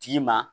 Tigi ma